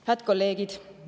Head kolleegid!